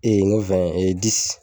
n ko